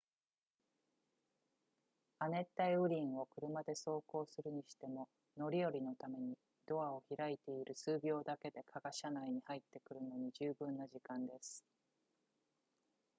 亜熱帯雨林を車で走行するにしても乗り降りのためにドアを開けている数秒だけで蚊が車内に入ってくるのに十分な時間です